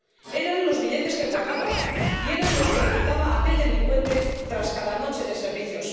Eran los billetes que guardaba y eran los que le quitaba aquel delincuente tras cada noche de servicios.